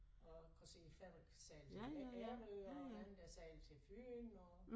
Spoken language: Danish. Og kan se æ færge sejle til Ærø og en anden der sejler til Fyn og